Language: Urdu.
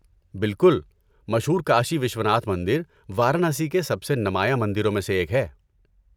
بالکل. مشہور کاشی وشوناتھ مندر وارانسی کے سب سے نمایاں مندروں میں سے ایک ہے۔